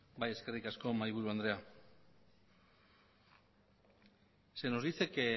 bai eskerrik asko mahaiburu andrea se nos dice que